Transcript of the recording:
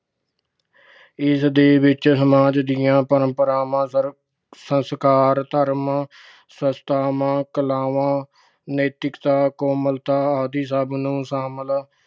ਇਸ ਦੇ ਵਿੱਚ ਸਮਾਜ ਦੀਆਂ ਪਰੰਪਰਾਵਾਂ, ਸੰਸਕਾਰ ਅਹ ਧਰਮ, ਸੰਸਥਾਵਾਂ, ਕਲਾਵਾਂ, ਨੈਤਿਕਤਾ, ਕੋਮਲਤਾ ਆਦਿ ਸਭ ਨੂੰ ਸ਼ਾਮਲ